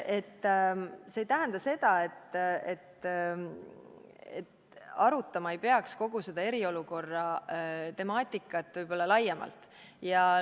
See ei tähenda seda, et arutama ei peaks kogu eriolukorra temaatikat laiemalt.